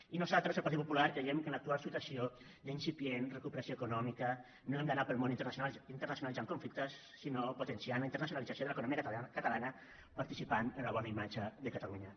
i nosaltres el partit popular creiem que en l’actual situació d’incipient recuperació econòmica no hem d’anar pel món internacionalitzant conflictes sinó potenciant la internacionalització de l’economia catalana participant en la bona imatge de catalunya